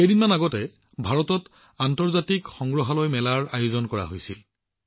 কিছুদিন পূৰ্বে ভাৰতত আন্তৰ্জাতিক সংগ্ৰহালয় এক্সপোৰো আয়োজন কৰা হৈছিল